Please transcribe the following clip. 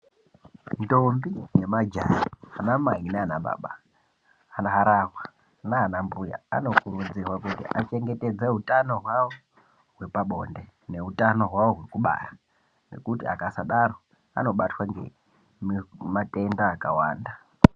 Ntombi nemajaha ana mai naana baba kana harahwa naana mbuya anokurudzirwa kuti achengetedze utano hwawo wepabonde neutano hwawo wekubara nekuti akasadaro anobatwa ngematenda akawanda.